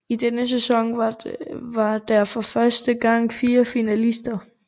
I denne sæson var der for første gang fire finalister